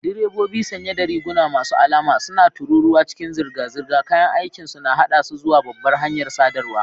Direbobi sanye da riguna masu alama suna tururuwa cikin zirga-zirga, kayan aikinsu na haɗa su zuwa babbar hanyar sadarwa.